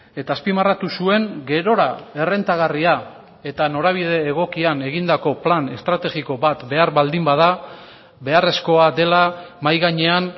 eta azpimarratu zuen gerora errentagarria eta norabide egokian egindako plan estrategiko bat behar baldin bada beharrezkoa dela mahai gainean